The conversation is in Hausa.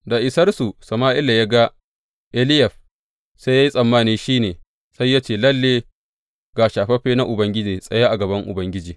Da isarsu, Sama’ila ya ga Eliyab sai ya yi tsammani shi ne, sai ya ce, Lalle ga shafaffe na Ubangiji tsaye a gaban Ubangiji.